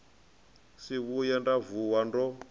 si vhuye nda vuwa ndo